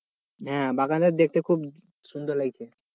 হ্যাঁ, বাগানটাকে দেখতে খুব সুন্দর লাগছে।